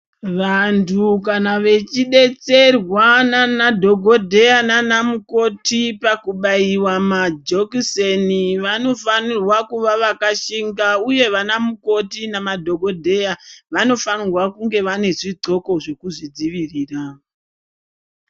Vantu kana vachidetderwa nana dhokodheya nanamukoti pakubaiwa majekiseni vanofanirwa vakashinga uye vana mukoti nemadhokodheya vanofana kunge vane zvidxoko zvekuvadzivirira.